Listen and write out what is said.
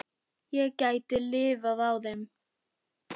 Ég gæti lifað á þeim.